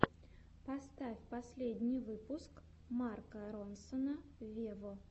поставь последний выпуск марка ронсона вево